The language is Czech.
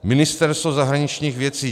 Ministerstvo zahraničních věcí.